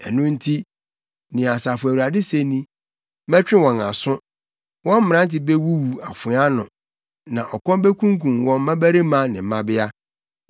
Ɛno nti, nea Asafo Awurade se ni: “Mɛtwe wɔn aso. Wɔn mmerante bewuwu afoa ano, na ɔkɔm bekunkum wɔn mmabarima ne mmabea.